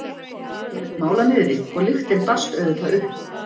Hún lét mála niðri og lyktin barst auðvitað upp.